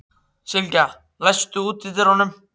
Sylgja, læstu útidyrunum.